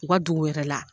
U ka dugu yɛrɛ la